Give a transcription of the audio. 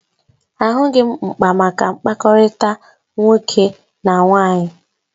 Ahụghị m mkpa maka mkpakọrịta nwoke na nwaanyị